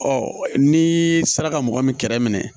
Ɔ ni sera ka mɔgɔ min kɛrɛ minɛ